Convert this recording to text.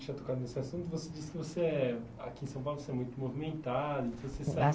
já tocando nesse assunto, você disse que você é aqui em São Paulo você é muito movimentada. Então você